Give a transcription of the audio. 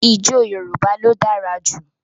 Ìjọ̀ Yorùbá ló dára jú.